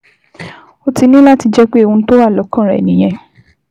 Ó ti ní láti jẹ́ pé ohun tó wà lọ́kàn rẹ nìyẹn